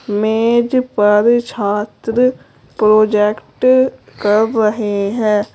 मेज पर छात्र प्रोजेक्ट कर रहे हैं।